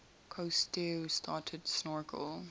cousteau started snorkel